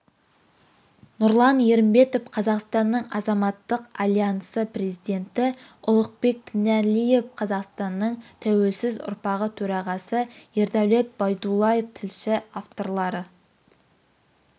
нұрлан ерімбетов қазақстанның азаматтық альянсы президенті ұлықбек тінәлиев қазақстанның тәуелсіз ұрпағы төрағасы ердәулет байдуллаев тілші авторлары